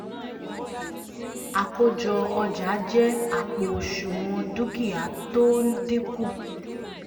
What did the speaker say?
àkójọ ọjà jẹ àpò òsùnwọ̀n dúkìá tó ń dínkù